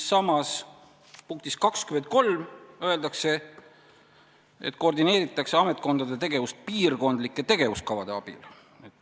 Samas, punktis 23 öeldakse, et koordineeritakse ametkondade tegevust piirkondlike tegevuskavade abil.